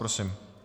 Prosím.